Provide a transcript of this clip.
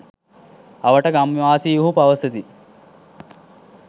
අවට ගම්වාසීහු පවසති